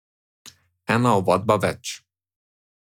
Ena ovadba več.